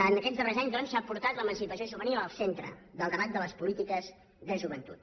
en aquests darrers anys doncs s’ha portat l’emancipació juvenil al centre del debat de les polítiques de joventut